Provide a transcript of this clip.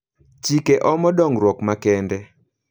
Chike omo dongruok makende.